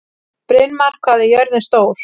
Brynmar, hvað er jörðin stór?